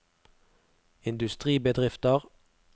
industribedrifter